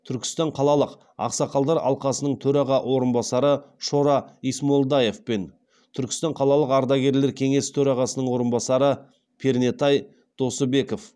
түркістан қалалық ақсақалдар алқасының төраға орынбасары шора исмолдаев пен түркістан қалалық ардагерлер кеңесі төрағасының орынбасары пернетай досыбеков